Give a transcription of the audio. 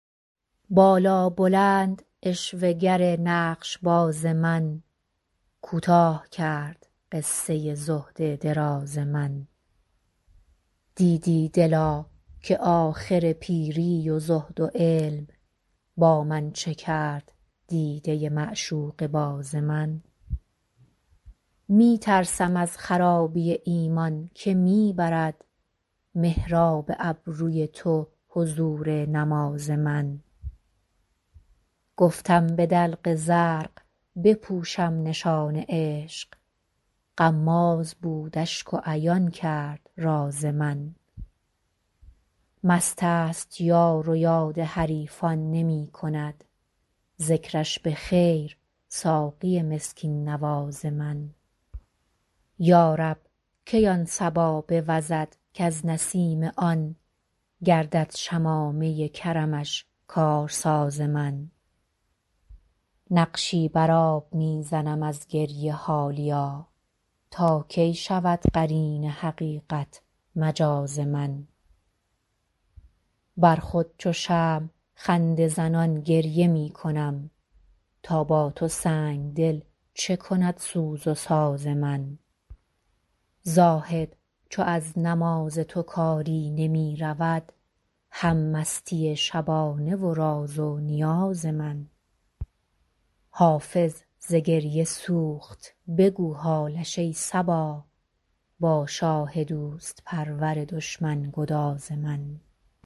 بالابلند عشوه گر نقش باز من کوتاه کرد قصه زهد دراز من دیدی دلا که آخر پیری و زهد و علم با من چه کرد دیده معشوقه باز من می ترسم از خرابی ایمان که می برد محراب ابروی تو حضور نماز من گفتم به دلق زرق بپوشم نشان عشق غماز بود اشک و عیان کرد راز من مست است یار و یاد حریفان نمی کند ذکرش به خیر ساقی مسکین نواز من یا رب کی آن صبا بوزد کز نسیم آن گردد شمامه کرمش کارساز من نقشی بر آب می زنم از گریه حالیا تا کی شود قرین حقیقت مجاز من بر خود چو شمع خنده زنان گریه می کنم تا با تو سنگ دل چه کند سوز و ساز من زاهد چو از نماز تو کاری نمی رود هم مستی شبانه و راز و نیاز من حافظ ز گریه سوخت بگو حالش ای صبا با شاه دوست پرور دشمن گداز من